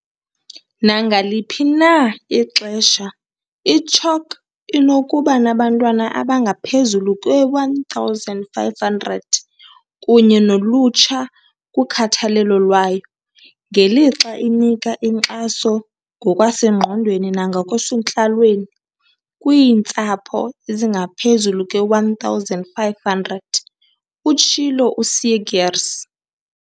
"Nangaliphi na ixesha, i-CHOC inokuba nabantwana abangaphezulu kwe-1 500 kunye nolutsha kukhathalelo lwayo, ngelixa inika inkxaso ngokwasengqondweni nangokwasentlalweni kwiintsapho ezingaphezulu kwe-1 500," utshilo u-Seegers.